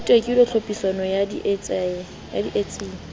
ho tekilwe tlhophisong ya ditsiane